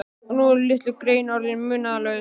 Og nú eru litlu greyin orðin munaðarlaus.